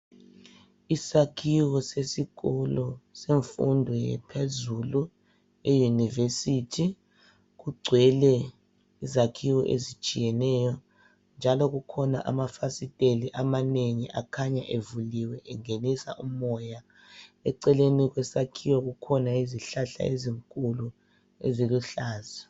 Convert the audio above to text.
Isakhiwo sesikolo semfundo yaphezulu, eyunivesithi, kugcwele izakhiwo ezitshiyeneyo. Njalo kukhona amafasiteli amanengi akhanya evuliwe engenisa umoya. Eceleni kwesakhiwo kukhona izihlahla ezinkulu eziluhlaza.